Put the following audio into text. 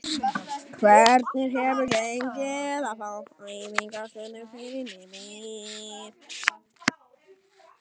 Hvernig hefur gengið að fá æfingaaðstöðu fyrir liðið?